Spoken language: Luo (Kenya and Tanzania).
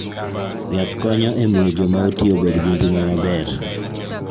Yath konyo e miyo joma oti obed gi ngima maber.